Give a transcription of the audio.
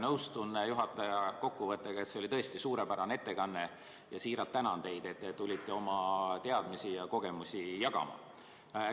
Nõustun juhataja kokkuvõttega, et see oli tõesti suurepärane ettekanne, ja siiralt tänan teid, et te tulite oma teadmisi ja kogemusi jagama.